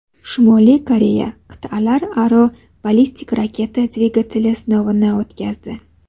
Shimoliy Koreya qit’alararo ballistik raketa dvigateli sinovini o‘tkazdi.